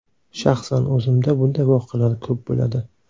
Shaxsan o‘zimda bunday voqealar ko‘p bo‘ladi.